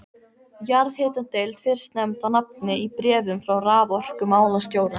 Jarðhitadeild fyrst nefnd á nafn í bréfum frá raforkumálastjóra.